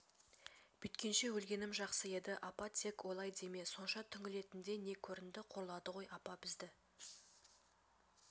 бүйткенше өлгенім жақсы еді апа тек олай деме сонша түңілетіндей не көрінді қорлады ғой апа бізде